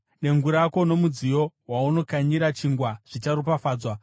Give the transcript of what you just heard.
Dengu rako nomudziyo waunokanyira chingwa zvicharopafadzwa.